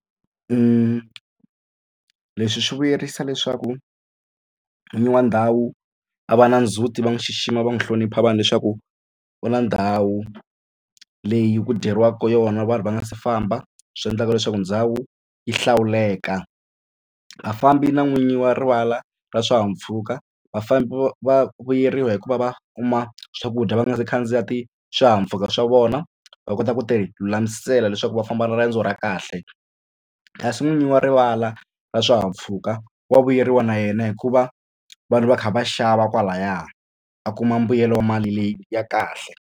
Leswi swi vuyerisa leswaku n'wini wa ndhawu a va na ndzhuti va n'wi xixima va n'wi hlonipha vanhu leswaku u na ndhawu leyi ku dyeriwaka ka yona vanhu va nga si famba swi endlaka leswaku ndhawu yi hlawuleka vafambi na n'winyi wa rivala ra swihahampfhuka vafambi va vuyeriwa hi ku va va kuma swakudya va nga si khandziya swihahampfhuka swa vona va kota ku tilulamisela leswaku va famba riendzo ra kahle kasi n'winyi wa rivala ra swihahampfhuka wa vuyeriwa na yena hikuva vanhu va kha va xava kwalaya a kuma mbuyelo wa mali leyi ya kahle.